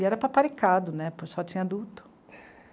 E era paparicado né, só tinha adulto.